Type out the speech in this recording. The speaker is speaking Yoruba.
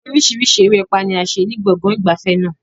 Oríṣiríṣi erépá ni a ṣe ní gbọ̀ngàn ìgbafẹ́ náà.